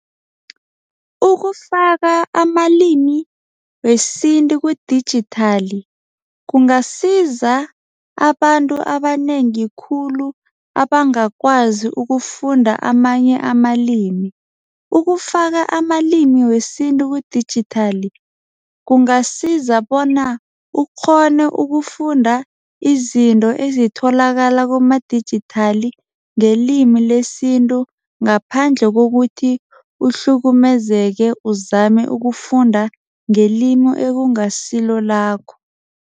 Ukufaka amalimi wesintu kudijithali kungasiza abantu abanengi khulu abangakwazi ukufunda amanye amalimi. Ukufaka amalimi wesintu kudijithali kungasiza bona ukghone ukufunda izinto ezitholakala kumadijithali ngelimi lesintu ngaphandle kokuthi uhlukumezeke uzame ukufunda ngelimi ekungasilo lakho.